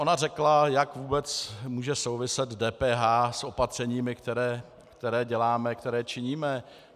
Ona řekla, jak vůbec může souviset DPH s opatřeními, která děláme, která činíme.